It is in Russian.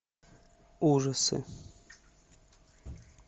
ужасы